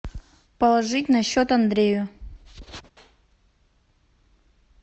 положить на счет андрею